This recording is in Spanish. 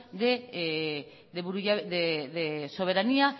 de soberanía